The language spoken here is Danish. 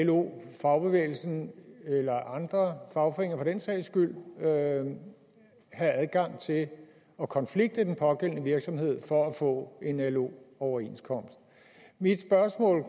lo fagbevægelsen eller andre fagforeninger for den sags skyld have adgang til at at konflikte den pågældende virksomhed for at få en lo overenskomst mit spørgsmål